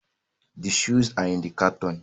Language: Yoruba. The shoes are in the carton